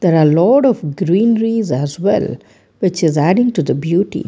There are lot of greenress as well which is adding to the beauty.